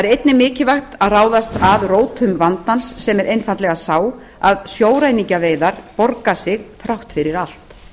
einnig mikilvægt að ráðast að rótum vandans sem er einfaldlega sá að sjóræningjaveiðar borga sig þrátt fyrir allt